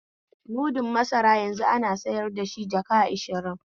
Mudun masara yanzu ana sayar dashi jaka ashirin ne